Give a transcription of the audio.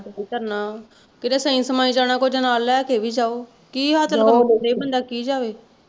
ਹੱਥ ਤੇ ਧਰਨਾ, ਕੀਤੇ ਸਈ ਸਮਾਹੀ ਜਾਣਾ ਕੁਝ ਨਾਲ ਲੈ ਕੇ ਵੀ ਜਾਓ ਬੰਦਾ ਕੀ ਜਾਵੇ?